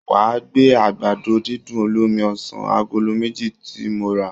Wà á gbé àgbàdo-dídùn olómi ọsàn agolo méjì tí mo rà